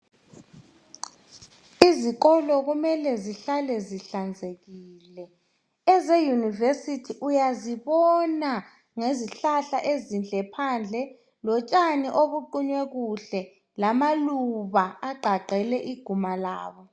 Izikolo kumele zihlale zihlanzekile eze university uyazibona ngezihlahla ezinhle phandle lotshani obuqunywe kuhle lamaluba agqagqele iguma labo.